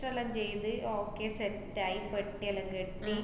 register ല്ലാം ചെയ്ത് okay set ആയി, പെട്ടിയെല്ലാം കെട്ടി.